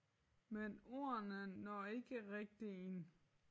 Men ordene når ikke rigtig ind